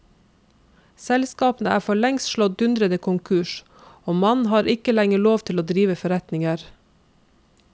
Selskapene er for lengst slått dundrende konkurs, og mannen har ikke lenger lov til å drive forretninger.